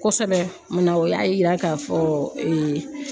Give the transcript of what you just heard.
Kosɛbɛ mun na o y'a yira k'a fɔ